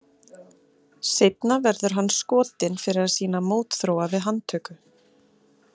Seinna verður hann skotinn fyrir að sýna mótþróa við handtöku.